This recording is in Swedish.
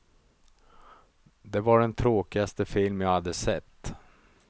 Det var den tråkigaste film jag hade sett.